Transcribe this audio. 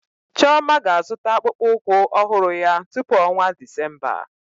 Chioma ga-azụta akpụkpọ ụkwụ ọhụrụ ya tupu ọnwa Disemba.